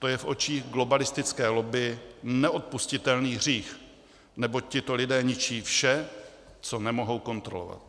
To je v očích globalistické lobby neodpustitelný hřích, neboť tito lidé ničí vše, co nemohou kontrolovat.